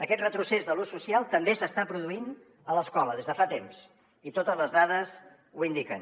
aquest retrocés de l’ús social també s’està produint a l’escola des de fa temps i totes les dades ho indiquen